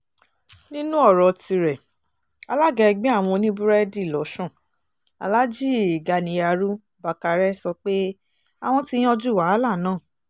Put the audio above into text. nínú ọ̀rọ̀ tirẹ̀ alága ẹgbẹ́ àwọn oníbúrẹ́dì lọ́sùn alhaji ganiyarú bákárẹ́ sọ pé àwọn ti yanjú wàhálà náà